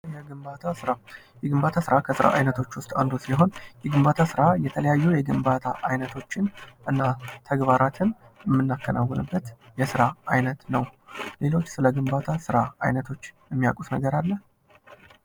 የግንባታ ስራ የግንባታ ስራ ከስራ አይነቶች ውስጥ አንዱ ሲሆን የግንባታ ስራ የተለያዩ የግንባታ አይነቶችን እና ተግባራትን የምናከናውንበት የስራ አይነት ነው። ሌላው ስለ ግንባታ ስራ ዐይነቶች የሚያውቁት ነገር አለ?